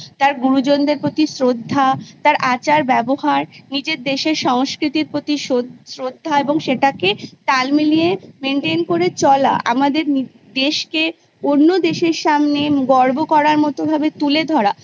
তার গুরুজনদের প্রতি শ্রদ্ধা তার আচার ব্যবহার নিজের দেশের সংস্কৃতির প্রতি শ্রদ্ধা এবং সেটাকে তাল মিলিয়ে Maintain করে চলা আমাদের দেশকে অন্য দেশের সামনে গর্ব করার মতন তুলে ধরা